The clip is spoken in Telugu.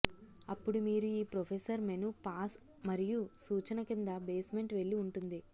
అప్పుడు మీరు ఈ ప్రొఫెసర్ మెను పాస్ మరియు సూచన కింద బేస్మెంట్ వెళ్ళి ఉంటుంది